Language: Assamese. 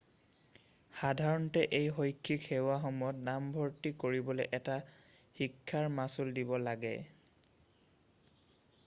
সাধাৰণতে এই শৈক্ষিক সেৱাসমূহত নামভৰ্তি কৰিবলৈ এটা শিক্ষাৰ মাচুল দিব লাগে